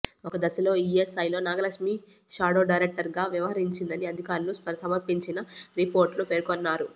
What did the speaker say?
ఒక దశలో ఇఎస్ఐలో నాగలక్ష్మి షాడో డైరెక్టర్గా వ్యవహరించిందని అధికారులు సమర్పించిన రిపోర్ట్లో పేర్కొన్నారు